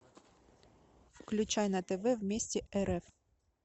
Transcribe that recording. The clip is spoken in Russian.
включай на тв вместе рф